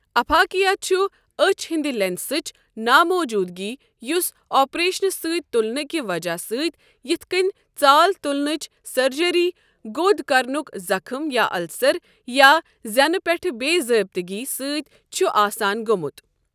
اپھاکیا چُھ أچھ ہٕنٛدِ لیٚنسٕچ ناموٗجوٗدٕگی یُس اپریشنہٕ سۭتۍ تُلنہٕ کہِ وجہہ سۭتۍ یِتھ کٔنۍ ژال تُلنٕچ سرجری گود کرنُکھ زخم یا السر، یا زینہٕ پٮ۪ٹھٕ بے ضٲبطگی سۭتۍ چھُ آسان گوٚمُت۔